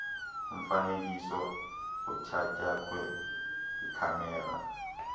umfanekiso othatyathwe yikhamera